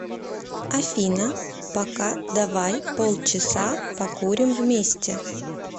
афина пока давай полчаса покурим вместе